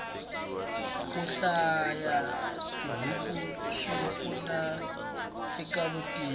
kuhlaya tibhuku swipfuna ekavutivi